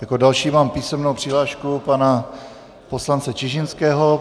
Jako další mám písemnou přihlášku pana poslance Čižinského.